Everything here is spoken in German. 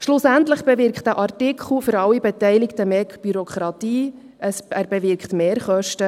Schlussendlich bewirkt dieser Artikel für alle Beteiligten mehr Bürokratie, und er bewirkt Mehrkosten.